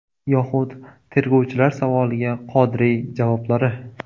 Yoxud tergovchilar savoliga Qodiriy javoblari.